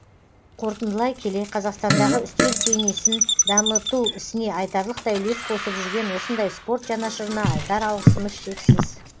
қорытындылай келе қазақстандағы үстел теннисін дамыту ісіне айтарлықтай үлес қосып жүрген осындай спорт жанашырына айтар алғысымыз шексіз